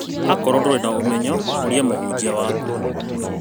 Akorwo ndũrĩ na ũmenyo ũrĩa mũhunjia waku